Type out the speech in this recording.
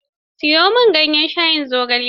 Siyo min ganyen shayin zogale.